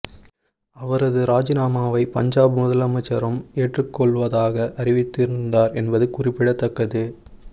அவரது ராஜினாமாவை பஞ்சாப் முதலமைச்சரும் ஏற்றுக் கொள்வதாக அறிவித்து இருந்தார் என்பது குறிப்பிடத்தக்கது